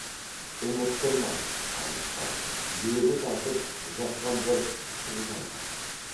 ұмыттырмай айықпай лебі тартып жатқан бір ыстық жан бар